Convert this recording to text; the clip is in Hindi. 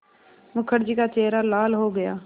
मुखर्जी का चेहरा लाल हो गया